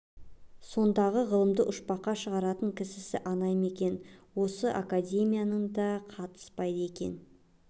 сондағы ғылымды ұшпаққа шығаратын кісісі ана ма онысы академияның да қатыспайды екен